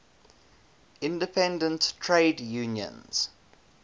independent trade unions